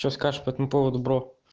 что скажешь по этому поводу бро